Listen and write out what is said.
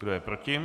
Kdo je proti?